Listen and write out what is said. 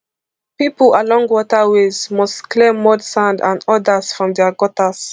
pipo along waterways must clear mud sand and odas from dia gutters